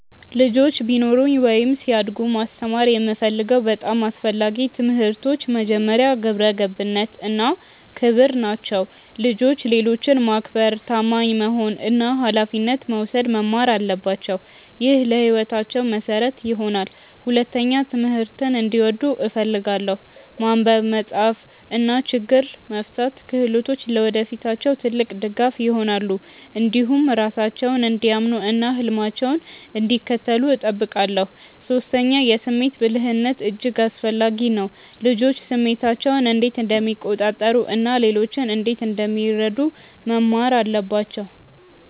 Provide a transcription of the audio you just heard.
ልጆች ቢኖሩኝ ወይም ሲያድጉ ማስተማር የምፈልገው በጣም አስፈላጊ ትምህርቶች መጀመሪያ፣ ግብረ ገብነት እና ክብር ናቸው። ልጆች ሌሎችን ማክበር፣ ታማኝ መሆን እና ኃላፊነት መውሰድ መማር አለባቸው። ይህ ለሕይወታቸው መሠረት ይሆናል። ሁለተኛ፣ ትምህርትን እንዲወዱ እፈልጋለሁ። ማንበብ፣ መጻፍ እና ችግኝ መፍታት ክህሎቶች ለወደፊታቸው ትልቅ ድጋፍ ይሆናሉ። እንዲሁም ራሳቸውን እንዲያምኑ እና ህልማቸውን እንዲከተሉ እጠብቃለሁ። ሶስተኛ፣ የስሜት ብልህነት እጅግ አስፈላጊ ነው። ልጆች ስሜታቸውን እንዴት እንደሚቆጣጠሩ እና ሌሎችን እንዴት እንደሚረዱ መማር አለባቸው